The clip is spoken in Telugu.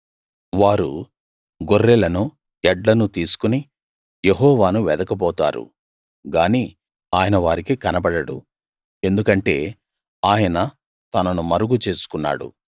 వారు గొర్రెలను ఎడ్లను తీసుకుని యెహోవాను వెదకబోతారు గాని ఆయన వారికి కనబడడు ఎందుకంటే ఆయన తనను మరుగు చేసుకున్నాడు